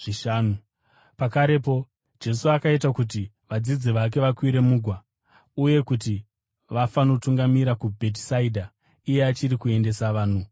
Pakarepo Jesu akaita kuti vadzidzi vake vakwire mugwa uye kuti vafanotungamira kuBhetisaidha, iye achiri kuendesa vanhu vazhinji.